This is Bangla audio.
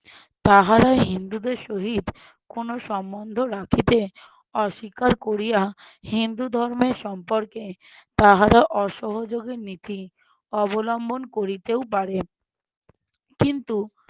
তাহারা হিন্দুদের সহিত কোনো সম্বন্ধ রাখিতে অস্বীকার করিয়া হিন্দু ধর্মের সম্পর্কে তাহারা অসহযোগের নীতি অবলম্বন করিতেও পারে কিন্তু